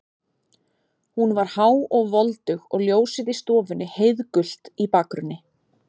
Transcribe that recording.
Hún var há og voldug og ljósið í stofunni heiðgult í bakgrunni.